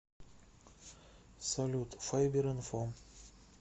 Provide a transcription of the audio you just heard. салют файберинфо